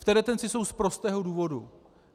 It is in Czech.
V té detenci jsou z prostého důvodu.